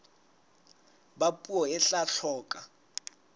ba puo e tla hloka